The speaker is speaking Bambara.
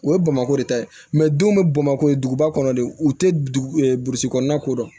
O ye bamakɔ de ta ye denw bɛ bamako ye duguba kɔnɔ de u tɛ dugu e burusi kɔnɔna ko dɔn